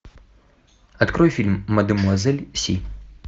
открой фильм мадмуазель си